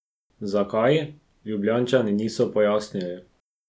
Zakaj, Ljubljančani niso pojasnili.